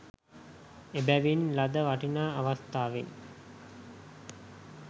එබැවින් ලද වටිනා අවස්ථාවෙන්